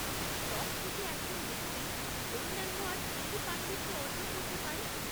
শখ থেকে এজকন ব্যক্তি অন্যান্য আর কী কী পাণ্ডিত্য অর্জন করতে পারে?